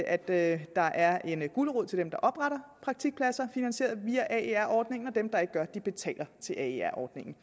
at at der er en gulerod til dem der opretter praktikpladser finansieret via aer ordningen og at dem der ikke gør det betaler til aer ordningen